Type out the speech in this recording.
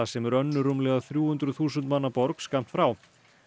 sem er önnur rúmlega þrjú hundruð þúsund manna borg skammt frá